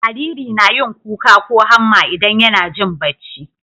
Jariri nayin kuka ko hamma idan YAna Jin bacci